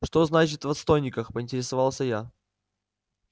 что значит в отстойниках поинтересовался я